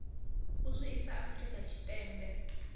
u zwi ḓisa afrika tshipembe